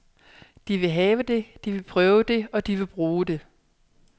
De vil have det, de vil prøve det, og de vil bruge det.